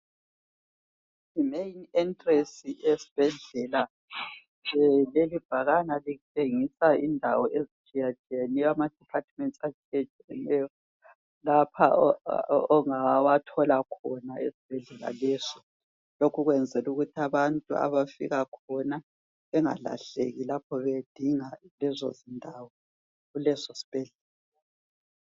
I main entrance yesibhedlela lelibhakane litshengisa indawo ezitshiyetshiyeneyo yamadepartments atshiyetshiyeneyo ongawatjola kulesisobhedlela. Lokhu kwenzela ukuthi abantu abafika khona lapho bengalahleki lapho bedinga indawo kulesisibhedlela.